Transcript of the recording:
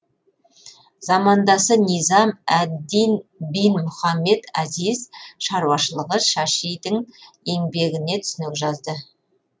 замандасы низам әд дин бин мұхаммед азиз шаруашылығы шашидің еңбегіне түсінік жазды